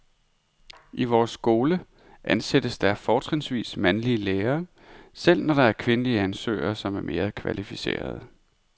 I vores skole ansættes der fortrinsvis mandlige lærere, selv når der er kvindelige ansøgere, som er mere kvalificerede.